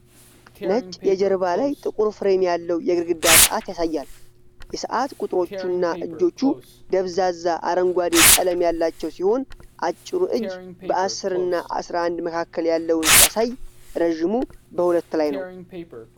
ነጭ የጀርባ ላይ ጥቁር ፍሬም ያለው የግድግዳ ሰዓት ያሳያል። የሰዓት ቁጥሮቹ እና እጆቹ ደብዛዛ አረንጓዴ ቀለም ያላቸው ሲሆን፣ አጭሩ እጅ በ10 እና 11 መካከል ያለውን ሲያሳይ ረዥሙ በ2 ላይ ነው።